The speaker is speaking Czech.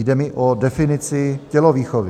Jde mi o definici tělovýchovy.